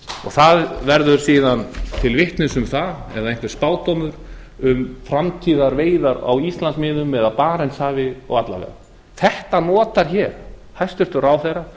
það verður síðan til vitnis um það eða einhver spádómur um framtíðarveiðar á íslandsmiðum eða í barentshafi og alla vega þetta notar hæstvirtur ráðherra